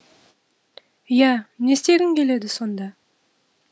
иә не істегің келеді сонда